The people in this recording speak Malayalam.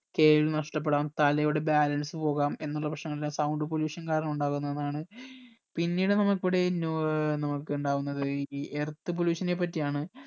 കേൾവി നഷ്ടപ്പെടാം തലയുടെ balance പോകാം എന്നുള്ള പ്രശ്‍നങ്ങള് sound pollution കാരണം ഉണ്ടാവുന്നതാണ് പിന്നീട് നമ്മക്ക് ഇവിടെ നോ ഏർ നമ്മക്ക് ഇണ്ടവിന്നത് ഈ earth pollution നെ പറ്റി ആണ്